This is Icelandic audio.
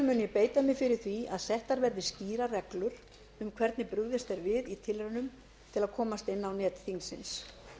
ég beita mér fyrir því að settar verði skýrar reglur um hvernig brugðist er við tilraunum til að komast inn á net þingsins